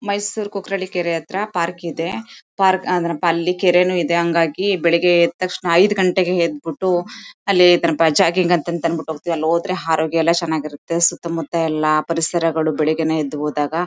ಮೈಸೂರ್ ಕುಕ್ರಳ್ಳಿ ಕೆರೆ ಹತ್ರ ಪಾರ್ಕ್ ಇದೆ. ಪಾರ್ಕ್ ಪ ಅದರ ಅಲ್ಲಿ ಕೆರೇನು ಇದೆ. ಹಾಂಗಾಗಿ ಬೆಳಿಗ್ಗೆ ಎದ್ ತಕ್ಷಣ ಐದು ಗಂಟೆಗೆ ಎದ್ಬಿಟ್ಟು ಅಲ್ಲಿ ಸ್ವಲ್ಪ ಜಾಗಿಂಗ್ ಅಂತಂತಂದ್ಬಿಟ್ಟು ಹೋಗತೀವಿ ಅಲ್ ಹೋದ್ರೆ ಆರೋಗ್ಯ ಎಲ್ಲಾ ಚೆನ್ನಾಗಿರುತ್ತೆ. ಸುತ್ತ ಮುತ್ತ ಎಲ್ಲಾ ಪರಿಸರಗಳು ಬೆಳಿಗ್ಗೆನೇ ಎದ್ದು ಹೋದಾಗ--